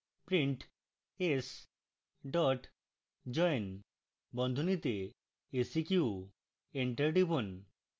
print s dot join বন্ধনীতে seq enter টিপুন